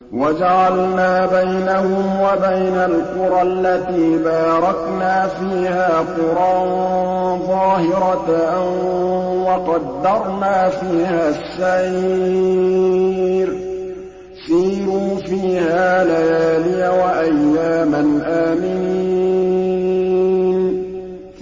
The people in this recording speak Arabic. وَجَعَلْنَا بَيْنَهُمْ وَبَيْنَ الْقُرَى الَّتِي بَارَكْنَا فِيهَا قُرًى ظَاهِرَةً وَقَدَّرْنَا فِيهَا السَّيْرَ ۖ سِيرُوا فِيهَا لَيَالِيَ وَأَيَّامًا آمِنِينَ